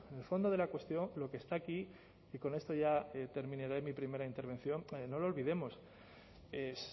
el fondo de la cuestión lo que está aquí y con esto ya termino mi primera intervención no lo olvidemos es